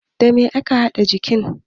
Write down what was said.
Da me ake haɗa jinka?